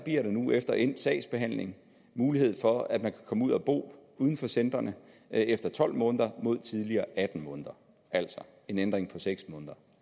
nu efter endt sagsbehandling mulighed for at de kan komme ud at bo uden for centrene efter tolv måneder mod tidligere atten måneder altså en ændring på seks måneder